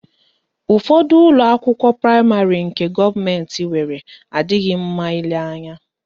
Ụfọdụ ụlọakwụkwọ praịmarị nke gọọmentị nwere adịghị mma ile anya